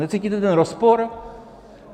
Necítíte ten rozpor?